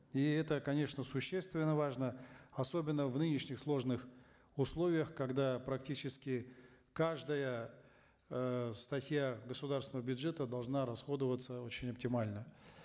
и это конечно существенно важно особенно в нынешних сложных условиях когда практически каждая э статья государственного бюджета должна расходоваться очень оптимально